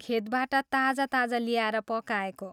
खेतबाट ताजा ताजा ल्याएर पकाएको।